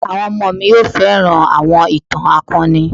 Àwọn ọmọ mi yóò fẹ́ràn àwọn ìtàn akọni.